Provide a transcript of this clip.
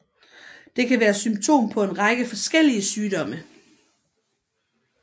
Det kan være symptom på en række forskellige sygdomme